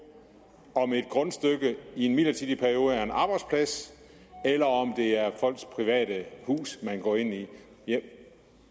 om et grundstykke i en midlertidig periode er en arbejdsplads eller om det er folks private hus man går ind i